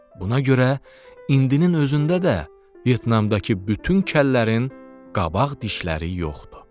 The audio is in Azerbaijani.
Buna görə indi özündə də Vyetnamdakı bütün kəllərin qabaq dişləri yoxdur.